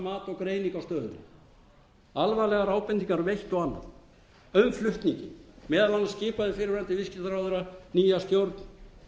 á stöðunni alvarlegar ábendingar um eitt og annað um flutninginn meðal annars skipaði fyrrverandi viðskiptaráðherra nýja stjórn